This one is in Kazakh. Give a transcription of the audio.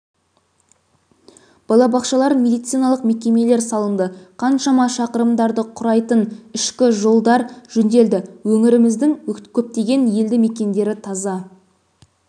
балабақшалар медициналық мекемелер салынды қаншама шақырымдарды құрайтын ішкі жолдар жөнделді өңіріміздің көптеген елді мекендері таза